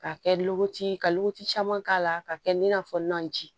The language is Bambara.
K'a kɛ ka caman k'a la k'a kɛ i n'a fɔ nɔnji